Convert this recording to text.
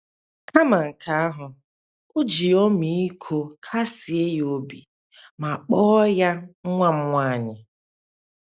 Kama nke ahụ, o ji ọmịiko kasie ya obi ma kpọọ ya “ nwa m nwaanyị. ”